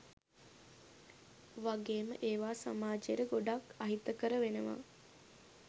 වගේම ඒවා සමාජයට ගොඩක් අහිතකර වෙනවා.